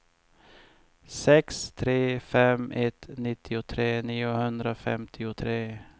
sex tre fem ett nittiotre niohundrafemtiotre